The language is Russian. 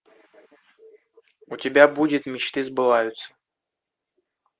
у тебя будет мечты сбываются